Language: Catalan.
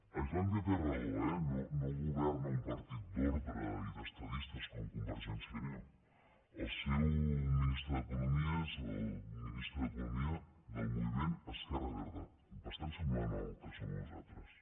a islàndia té raó eh no governa un partit d’ordre i d’estadistes com convergència i unió el seu ministre d’economia és el ministre d’economia del moviment esquerra verda bastant semblant al que som nosaltres